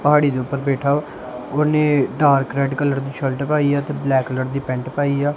ਪਹਾੜੀ ਦੇ ਉਪਰ ਬੈਠਾ ਆ ਉਹਨੇ ਡਾਰਕ ਰੈਡ ਕਲਰ ਦੀ ਸ਼ਰਟ ਪਾਈ ਆ ਤੇ ਬਲੈਕ ਕਲਰ ਦੀ ਪੈਂਟ ਪਾਈ ਆ।